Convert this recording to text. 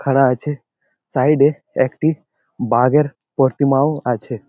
খাড়া আছে সাইড -এ একটি বাঘের প্রতিমাও আছে।